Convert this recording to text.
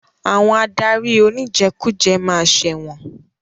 Àwọn adarí oníjẹkújẹ ma ṣẹ̀wọ̀n.